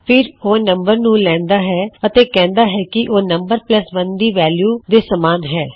ਫਿਰ ਉਹ ਨਮ ਨੂੰ ਲੈਣਦਾ ਹੈ ਅਤੇ ਕਿਹੁੰਦਾ ਹੈ ਕੀ ਉਹ ਨਮ 1 ਦੀ ਵੈਲਯੂ ਦੇ ਸਮਾਨ ਹੈ